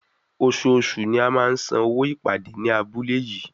Oṣooṣù ni a máa ń san owó ìpàdé ní abúlé yìí.